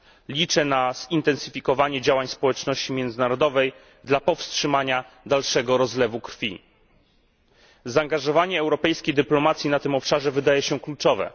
Liczę na zintensyfikowanie działań społeczności międzynarodowej dla powstrzymania dalszego rozlewu krwi. Zaangażowanie europejskiej dyplomacji na tym obszarze wydaje się kluczowe.